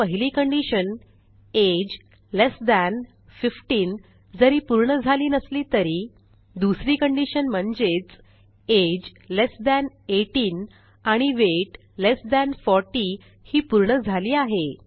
आता पहिली condition age less than 15 जरी पूर्ण झाली नसली तरी दुसरी conditionम्हणजेच अगे लेस थान 18 आणि वेट लेस थान 40 ही पूर्ण झाली आहे